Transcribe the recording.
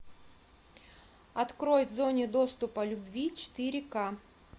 открой в зоне доступа любви четыре ка